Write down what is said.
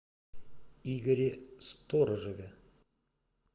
игоре сторожеве